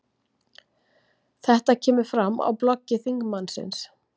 Þetta kemur fram á bloggi þingmannsins